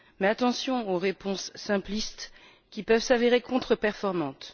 Attention, cependant, aux réponses simplistes qui peuvent s'avérer contre performantes.